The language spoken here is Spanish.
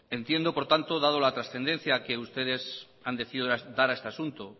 entiendo por tanto dada la transcendencia que ustedes han decidido dar a este asunto